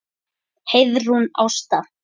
Heiðrún Ásta.